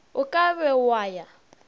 o ka be wa ya